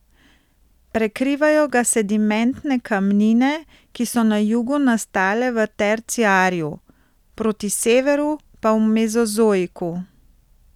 Prekrivajo ga sedimentne kamnine, ki so na jugu nastale v terciarju, proti severu pa v mezozoiku.